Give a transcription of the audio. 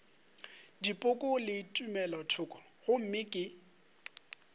dipoko le tumelothoko gomme ke